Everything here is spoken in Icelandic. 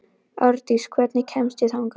Árdís, hvernig kemst ég þangað?